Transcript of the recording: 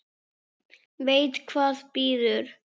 Veit hvað bíður.